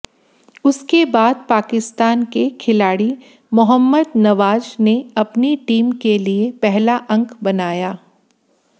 उसके बाद पाकिस्तान के खिलाड़ी मोहम्मद नवाज ने अपनी टीम के लिए पहला अंक बनाया